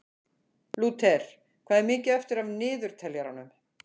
Lúter, hvað er mikið eftir af niðurteljaranum?